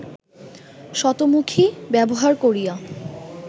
শতমুখী ব্যবহার করিয়া